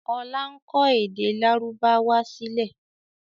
Ọlá ń kọ èdè lárúbáwá sílẹ̀